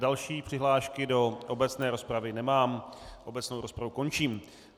Další přihlášky do obecné rozpravy nemám, obecnou rozpravu končím.